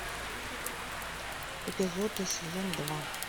эпизод и сезон два